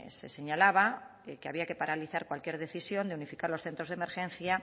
se señalaba que había que paralizar cualquier decisión de unificar los centros de emergencia